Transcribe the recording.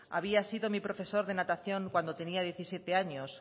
había sido mi profesor de natación cuando tenía diecisiete años